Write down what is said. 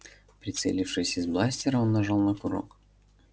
прицелившись из бластера он нажал на курок